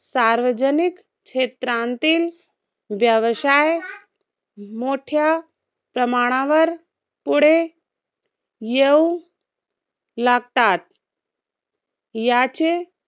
सार्वजनिक क्षेत्रांतील व्यवसाय मोठ्या प्रमाणावर पुढे येऊ लागतात. याचे